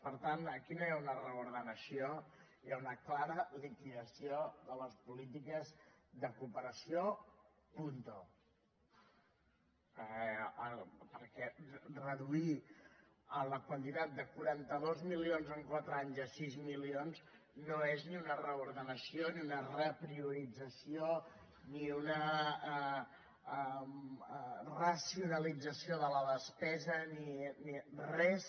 per tant aquí no hi ha una reordenació hi ha una clara liquidació de les polítiques de cooperació puntode quaranta dos milions en quatre anys a sis milions no és ni una reordenació ni una repriorització ni una racionalització de la despesa ni res